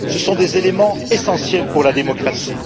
Ce sont des éléments essentiels pour la démocratie.